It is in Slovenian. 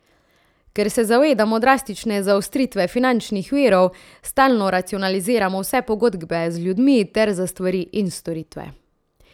Ker se zavedamo drastične zaostritve finančnih virov, stalno racionaliziramo vse pogodbe z ljudmi ter za stvari in storitve.